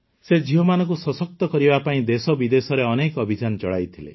ସେ ଝିଅମାନଙ୍କୁ ସଶକ୍ତ କରିବା ପାଇଁ ଦେଶବିଦେଶରେ ଅନେକ ଅଭିଯାନ ଚଳାଇଥିଲେ